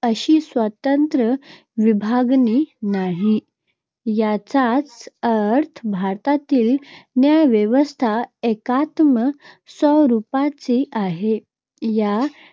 अशी स्वतंत्र विभागणी नाही. याचाच अर्थ, भारतातील न्यायव्यवस्था एकात्म स्वरूपाची आहे. या